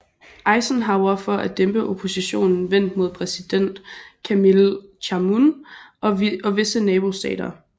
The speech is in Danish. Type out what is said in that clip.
Eisenhower for at dæmpe oppositionen vendt mod præsident Camille Chamoun og visse nabostater